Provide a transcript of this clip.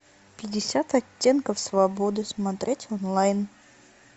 пятьдесят оттенков свободы смотреть онлайн